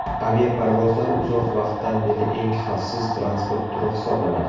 Aviaparvozlar uzoq vaqtdan beri eng xavfsiz transport turi hisoblanadi.